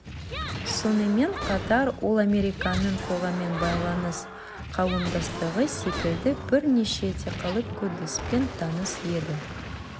сонымен қатар ол американың қоғаммен байланыс қауымдастығы секілді бірнеше этикалық кодекспен таныс еді